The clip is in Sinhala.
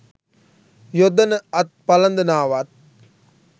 යොදන අත් පලඳනාවත්